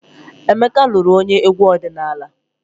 Emeka lụrụ onye egwu ọdịnala.